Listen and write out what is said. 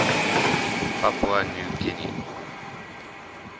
papua new guinean